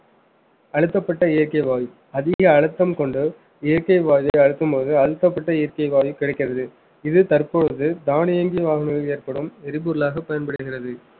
அழுத்தப்பட்ட இயற்கை வாயு அதிக அழுத்தம் கொண்டு இயற்கை வாயுவை அழுத்தும்போது அழுத்தப்பட்ட இயற்கை வாயு கிடக்கிறது இது தற்போது தானியங்கி வாகனங்களில் ஏற்படும் எரிபொருளாக பயன்படுகிறது